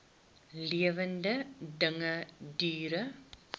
lewende dinge diere